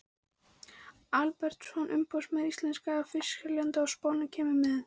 Albertsson umboðsmaður íslenskra fiskseljenda á Spáni kemur með